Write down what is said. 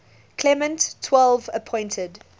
clement xii appointed